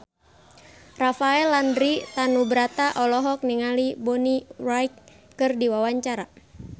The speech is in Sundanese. Rafael Landry Tanubrata olohok ningali Bonnie Wright keur diwawancara